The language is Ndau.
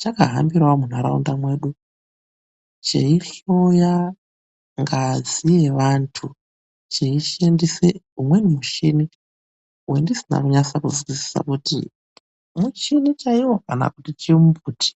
Chakahambirawo munharaunda mwedu cheihloya ngazi yevanthu, cheishandise umweni muchini wendisina kunyasa kuzwisisa kuti muchini chaiwo, kana kuti chimumbuti.